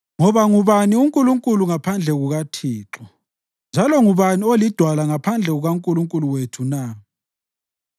Ngoba ngubani uNkulunkulu ngaphandle kukaThixo? Njalo ngubani oliDwala ngaphandle kukaNkulunkulu wethu na?